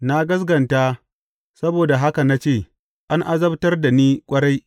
Na gaskata, saboda haka na ce, An azabtar da ni ƙwarai.